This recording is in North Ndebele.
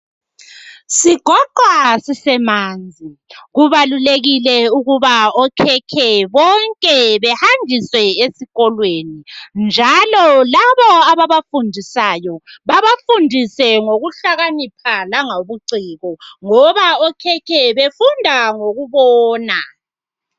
Sigoqwa sisemanzi kubalulekile ukuba okhekhe bonke behanjiswe esikolweni njalo labo ababafundisayo babafundise ngokuhlakanipha langobuciko ngoba okhekhe befunda ngokubona.